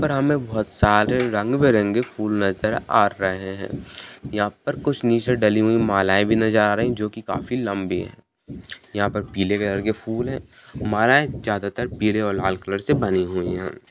यहाँ पर हमें बहुत सारे रंग बिरंगे फूल नजर आ रहै हैं | यहाँ पर कुछ नीचे डली हुई मालाएं ये भी नजर आ रही है जो की काफी लम्बी है | यहाँ पर पीला कलर के फूल है माला ये ज्यादातर पीला और लाल कलर से बनी हुई हैं ।